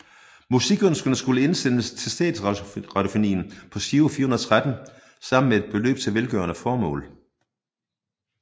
Musikønskerne skulle indsendes til Statsradiofonien på Giro 413 sammen med et beløb til velgørende formål